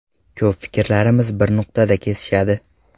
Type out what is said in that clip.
Ko‘p fikrlarimiz bir nuqtada kesishadi.